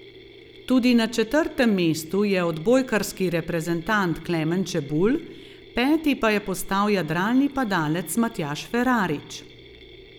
Tudi na četrtem mestu je odbojkarski reprezentant Klemen Čebulj, peti pa je postal jadralni padalec Matjaž Ferarič.